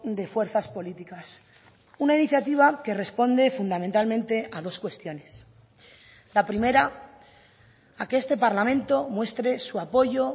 de fuerzas políticas una iniciativa que responde fundamentalmente a dos cuestiones la primera a que este parlamento muestre su apoyo